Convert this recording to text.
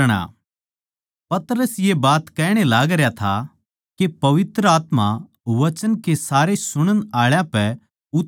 पतरस ये बात कहण ए लागरया था के पवित्र आत्मा वचन के सारे सुणण आळा पै उतर आया